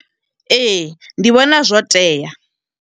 Ee, ndi vhona zwo tea.